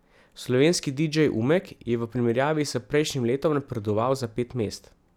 Slovenski didžej Umek je v primerjavi s prejšnjim letom napredoval za pet mest.